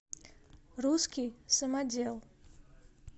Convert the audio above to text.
русский самодел